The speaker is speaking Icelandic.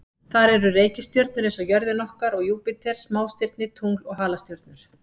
Þar eru reikistjörnur eins og jörðin okkar og Júpíter, smástirni, tungl og halastjörnur.